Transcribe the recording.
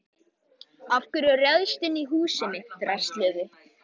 Núna getur músin komið út úr holunni sinni.